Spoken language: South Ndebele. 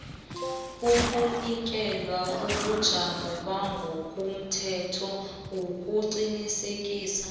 ukunikela ubujamo bangokomthethoukuqinisekiswa